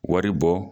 Wari bɔ